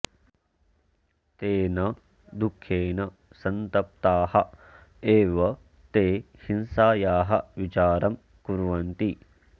तेन दुःखेन सन्तप्ताः एव ते हिंसायाः विचारं कुर्वन्ति